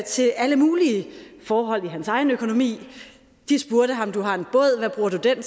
til alle mulige forhold i hans egen økonomi de spurgte ham du har en båd hvad bruger du den